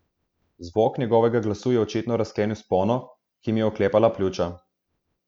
Zvok njegovega glasu je očitno razklenil spono, ki mi je oklepala pljuča.